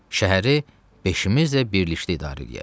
Şəhəri beşimiz də birlikdə idarə eləyək.